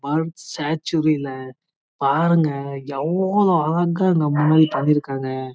ஸ்டர்ச்சு கிள பாருங்க ஏவுளோ அழகா பனிருக்காங்க